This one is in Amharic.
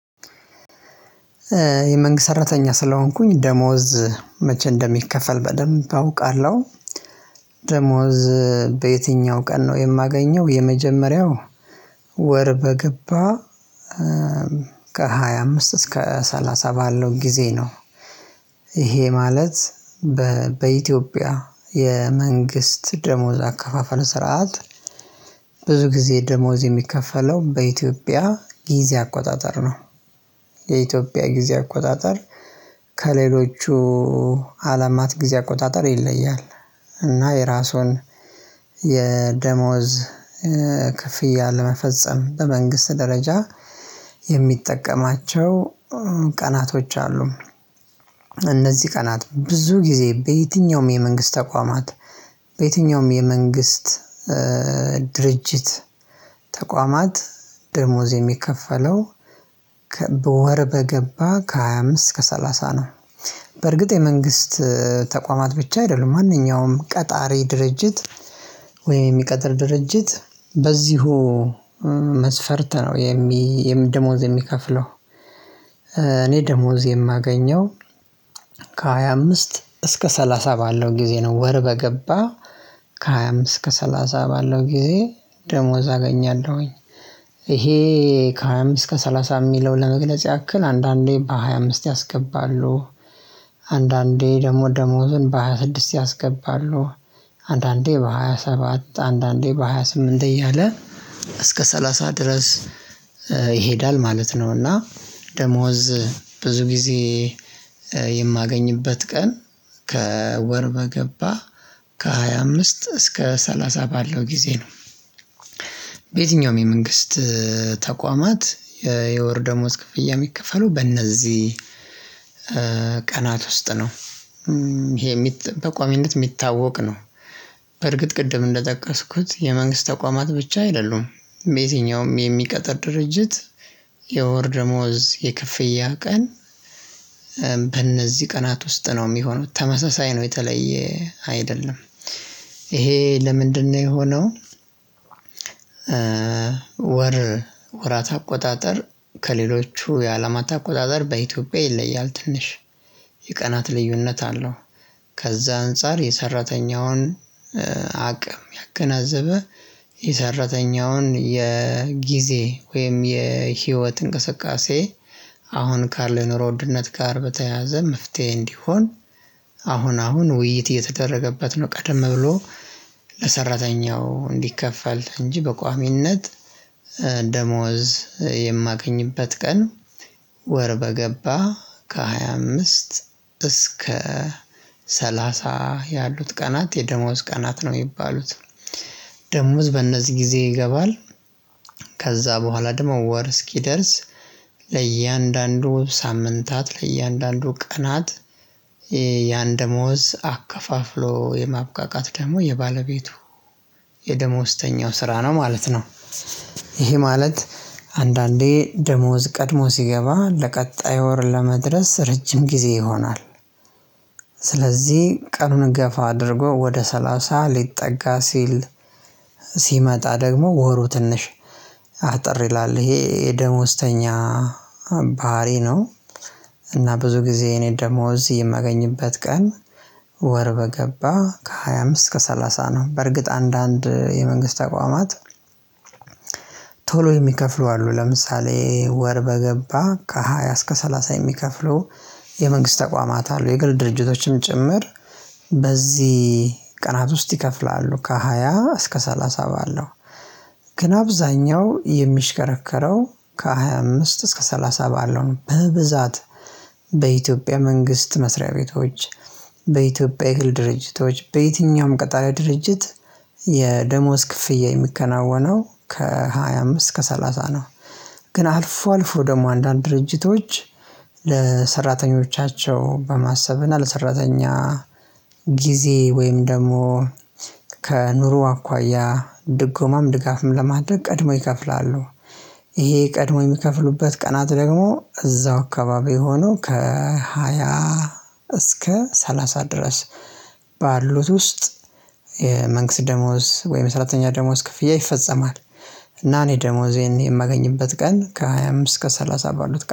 የመንግስት ሰራተኛ ስለሆንኩኝ ደሞዝ መቼ እንደሚከፈል በደንብ አውቃለሁ። ደሞዝ በየትኛው ቀን ነው የማገኘው የመጀመሪያው ወር በገባ ከሃያ አምስት እስከ ሰላሳ ባለው ጊዜ ነው። ይሄ ማለት በኢትዮጵያ የመንግስት ደሞዝ አከፋፈለ ስርዓት። ብዙ ጊዜ ደሞዝ የሚከፈለው በኢትዮጵያ ጊዜ አቆጣጠር ነው። የኢትዮጵያ ጊዜ አቆጣጠር ከሌሎቹ አለማት ጊዜ አቆጣጠር ይለያል። እና የራሱን የደሞዝ ክፍያ ለመፈጸም በመንግስት ደረጃ የሚጠቀማቸው ቀናቶች አሉ። እነዚህ ቀናት ብዙ ጊዜ በየትኛውም የመንግስት ተቋማት በየትኛውም የመንግስት ድርጅት ተቋማት ደሞዝ የሚከፈለው በወር በገባ ከሃያ አምስት እስከ ሰላሳ ነው። በርግጥ የመንግስት ተቋማት ብቻ አይደሉም ማንኛውም ቀጣሪ ድርጅት ወይም የሚቀጥር ድርጅት በዚሁ መስፈርት ነው የሚ ደሞዝ የሚከፍለው። እኔ ደሞዝ የማገኘው ከሃያ አምስት እስከ ሰላሳ ባለው ጊዜ ነው ወር በገባ ከሃያ አምስት እስከ ሰላሳ ባለው ጊዜ ደሞዝ አገኛለሁኝ። ይሄ ከሃያ አምስት እስከ ሰላሳ የሚለው ለመግለጽ ያክል አንዳንዴ በሃያ አምስት ያስገባሉ አንዳንዴ ደሞዝ ደሞዝን በሃያ ስድስት ያስገባሉ አንዳንዴ በሃያ ሰባት አንዳንዴ በሃያ ስምንት እያለ እስከ ሰላሳ ድረስ ይሄዳል ማለት ነው። እና ደሞዝ ብዙ ጊዜ የማገኝበት ቀን ከወር በገባ ከሃያ አምስት እስከ ሰላሳ ባለው ጊዜ ነው። በየትኛውም የመንግስት ተቋማት የወር ደሞዝ ክፍያ የሚከፈለው በእነዚህ ቀናት ውስጥ ነው። ይሄ በቋሚነት የሚታወቅ ነው። በርግጥ ቅድም እንደጠቀስኩት የመንግስት ተቋማት ብቻ አይደሉም በየትኛውም የሚቀጥር ድርጅት የወር ደሞዝ የከፍያ ቀን በእነዚህ ቀናት ውስጥ ነው የሚሆነው ተመሳሳይ ነው የተለየ አይደለም። ይሄ ለምንድነው የሆነው? ወር ወራት አቆጣጠር ከሌሎቹ የአላማት አቆጣጠር በኢትዮጵያ ይለያል ትንሽ የቀናት ልዩነት አለው። ከዛ አንፃር የሰራተኛውን አቅም ያገናዘበ የሰራተኛውን የጊዜ ወይም የህይወት እንቅስቃሴ አሁን ካለው የኑሮ ውድነት ጋር በተያዘ መፍትሄ እንዲሆን አሁን አሁን ውይይት እየተደረገበት ነው። ቀደም ብሎ ለሰራተኛው እንዲከፈል እንጂ በቋሚነት ደሞዝ የማገኝበት ቀን ወር በገባ ከሃያ አምስት እስከ ሰላሳ ያሉት ቀናት የደሞዝ ቀናት ነው የሚባሉት። ደሞዝ በእነዚህ ጊዜ ይገባል። ከዛ በኋላ ደግሞ ወር እስኪደርስ ለእያንዳንዱ ሳምንታት ለእያንዳንዱ ቀናት ያን ደሞዝ አከፋፍሎ የማብቃቃት ደግሞ የባለቤቱ የደሞዝተኛው ስራ ነው ማለት ነው። ይሄ ማለት አንዳንዴ ደሞዝ ቀድሞ ሲገባ ለቀጣዩ ወር ለመድረስ ረጅም ጊዜ ይሆናል። ስለዚህ ቀኑን ገፋ አድርጎ ወደ ሰላሳ ሊጠጋ ሲል ሲመጣ ደግሞ ወሩ ትንሽ አጠር ይላል ይሄ ደሞዝተኛ ባህሪ ነው። እና ብዙ ጊዜ እኔ ደሞዝ የማገኝበት ቀን ወር በገባ ከሃያ አምስት እስከ ሰላሳ ነው። በርግጥ አንዳንድ የመንግስት ተቋማት አቋማት ቶሎ የሚከፍሉ አሉ ለምሳሌ ወር በገባ ከሃያ እስከ ሰላሳ የሚከፍሉ የመንግስት ተቋማት አሉ። የግል ድርጅቶችም ጭምር በዚህ ቀናት ውስጥ ይከፍላሉ። ከሃያ እስከ ሰላሳ ባለው ግን አብዛኛው የሚሽከረከረው ከሃያ አምስት እስከ ሰላሳ ባለው ነው። በብዛት በኢትዮጵያ መንግስት መስሪያ ቤቶች በኢትዮጵያ የግል ድርጅቶች በየትኛውም ቀጣሪ ድርጅት የደሞዝ ክፍያ የሚከናወነው ከሃያ አምስት እስከ ሰላሳ ነው። ግን አልፎ አልፎ ደግሞ አንዳንድ ድርጅቶች ለሰራተኞቻቸው በማሰብ እና ለሰራተኛ ጊዜ ወይም ደግሞ ከኑሮ አኳያ ድጎማም ድጋፍም ለማድረግ ቀድሞ ይከፍላሉ። ይሄ ቀድመው የሚከፍሉበት ቀናት ደግሞ እዛው አካባቢ ሆኖ ከሃያ እስከ ሰላሳ ድረስ ባሉት ውስጥ መንግስት ደሞዝ ወይም የሰራተኛ ደሞዝ ክፍያ ይፈጸማል። እና እኔ ደሞዝ የማገኝበት ቀን ከሃያ አምስት እስከ ሰላሳ ባሉት